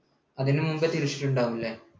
അതിനു മുൻപേ തിരിച്ചിട്ടുണ്ടാവും ല്ലേ?